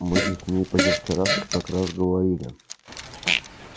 мы же с ней позавчера как раз говорили